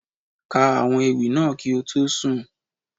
Ka àwọn ewì náà kí o tó sùn.